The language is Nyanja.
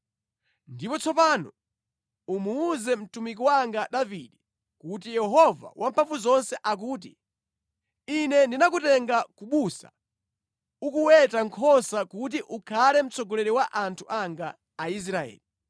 “Ndipo tsopano umuwuze mtumiki wanga Davide kuti, ‘Yehova Wamphamvuzonse akuti: Ine ndinakutenga ku busa ukuweta nkhosa kuti ukhale mtsogoleri wa anthu anga Aisraeli.